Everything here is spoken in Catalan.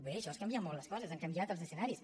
bé això és canviar molt les coses han canviat els escenaris